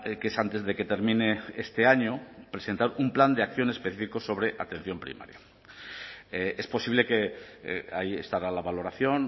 que es antes de que termine este año presentar un plan de acción específico sobre atención primaria es posible que ahí estará la valoración